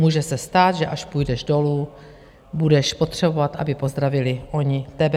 Může se stát, že až půjdeš dolů, budeš potřebovat, aby pozdravili oni tebe.